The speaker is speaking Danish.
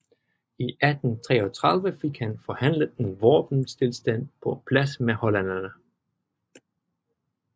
I 1833 fik han forhandlet en våbenstilstand på plads med hollænderne